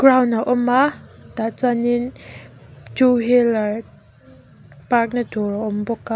ground a awm a tah chuanin two wheeler park na tur a awm bawk a.